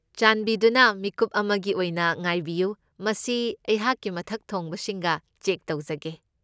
ꯆꯥꯟꯕꯤꯗꯨꯅ ꯃꯤꯀꯨꯞ ꯑꯃꯒꯤ ꯑꯣꯏꯅ ꯉꯥꯏꯕꯤꯌꯨ꯫ ꯃꯁꯤ ꯑꯩꯍꯥꯛꯀꯤ ꯃꯊꯛ ꯊꯣꯡꯕꯁꯤꯡꯒ ꯆꯦꯛ ꯇꯧꯖꯒꯦ꯫